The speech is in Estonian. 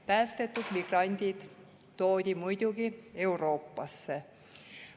Päästetud migrandid toodi muidugi Euroopasse.